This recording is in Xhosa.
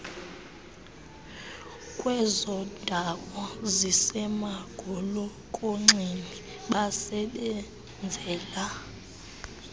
kwezondawo zisemagolokonxeni basebenzela